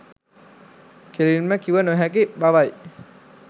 කෙළින්ම කිව නොහැකි බවයි.